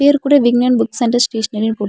பேர் கூட விக்னேன் புக் சென்டர் ஸ்டேஷனிரினு போட்டு--